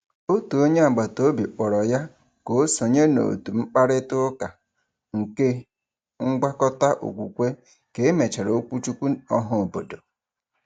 Otu onye agbataobi kpọrọ ya ka o sonye n’òtù mkparịtaụka nke ngwakọta okwukwe ka e mechara okwuchukwu ọhaobodo.